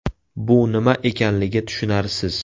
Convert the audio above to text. Bu nima ekanligi tushunarsiz.